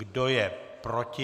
Kdo je proti?